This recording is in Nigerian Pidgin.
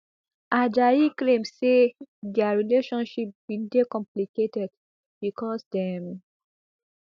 ajayi claim say dia relationship bin dey complicated becos dem